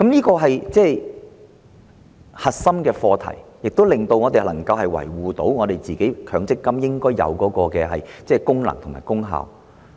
這是核心課題，這做法令我們能夠維護強積金制度應有的功能和功效。